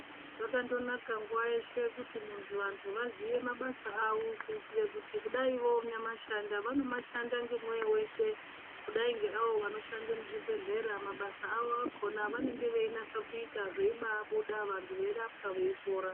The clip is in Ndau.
Zvakandonaka nguwa yeshe kuti munthu, vantu vaziye mabasa avo kuitire kuti kudai vonyamashanda vanomashanda ngemwoyo weshe kudai ngeavo vanoshande muzvibhedhlera mabasa avo akhona avanenge veinasa kuita zveibaabuda vantu veirapwa veipora.